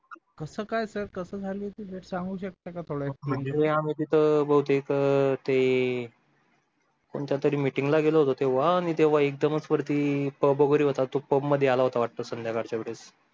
कसं काय सर कसं झाली होती भेट सांगू शकता का थोडं म्हणजे आम्ही तिथे बहुतेक ते कोणत्यातरी meeting ला गेलो होतो तेव्हा आणि तेव्हा एकदमच वरती pub वगैरे होता pub मध्ये आला होता वाटतं संध्याकाळच्या वेळेस